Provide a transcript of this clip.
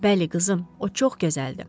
Bəli, qızım, o çox gözəldir.